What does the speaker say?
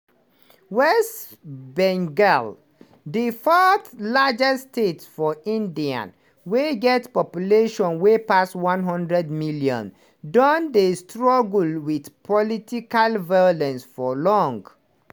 west bengal di fourth-largest state for india wey get population wey pass one hundred million don dey struggle wit political violence for long.